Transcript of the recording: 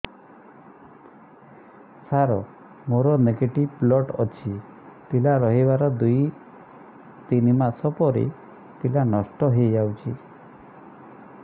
ସାର ମୋର negative blood ଅଛି ପିଲା ରହିବାର ଦୁଇ ତିନି ମାସ ପରେ ପିଲା ନଷ୍ଟ ହେଇ ଯାଉଛି